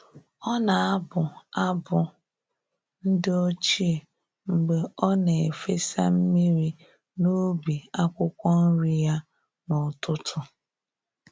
Ọ na-abụ abụ ndi ochie mgbe ọ na-efesa mmiri n’ubi akwukwo nri ya n’ụtụtụ.